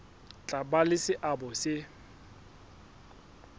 tla ba le seabo se